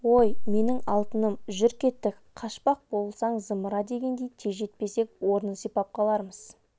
ой менің алтыным жүр кеттік қашпақ болсаң зымыра деген тез жетпесек орнын сипап қалармыз